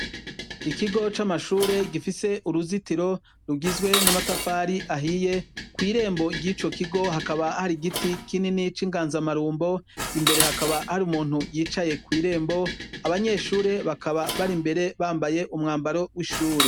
Ikigo camashure gifise uruzitiro rugizwe namatafari ahiye kwirembo ryico kigo hakaba hari igiti kinini cinganzamarumbo imbere hakaba hari umuntu yicaye kwirembo abanyeshure bakaba bari imbere bambaye umwambaro wishure.